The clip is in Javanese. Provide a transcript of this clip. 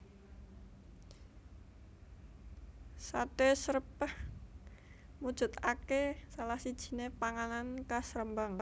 Sate Srèpèh mujudake salah sijiné panganan khas Rembang